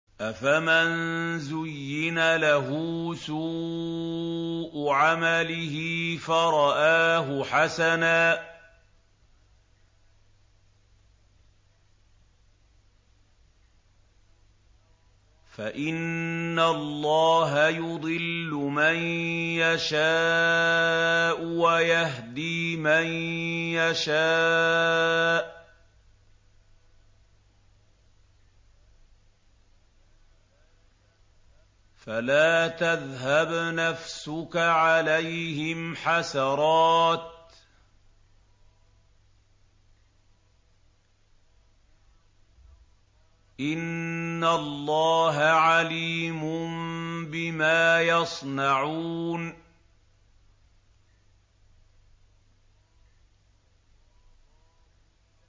أَفَمَن زُيِّنَ لَهُ سُوءُ عَمَلِهِ فَرَآهُ حَسَنًا ۖ فَإِنَّ اللَّهَ يُضِلُّ مَن يَشَاءُ وَيَهْدِي مَن يَشَاءُ ۖ فَلَا تَذْهَبْ نَفْسُكَ عَلَيْهِمْ حَسَرَاتٍ ۚ إِنَّ اللَّهَ عَلِيمٌ بِمَا يَصْنَعُونَ